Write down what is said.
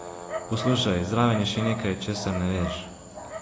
Poslušaj, zraven je še nekaj, česar ne veš.